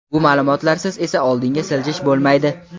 Bu ma’lumotlarsiz esa oldinga siljish bo‘lmaydi.